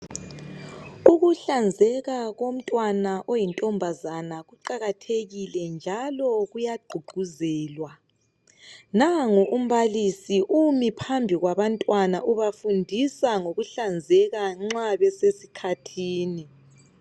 Ukuhlanzeka komntwana oyintombazana kuqakathekile njalo kuyagqugquzelwa. Nangu umbalisi umi phambi kwabantwana ubafundisa ngokuhlanzeka nxa besesikhathini.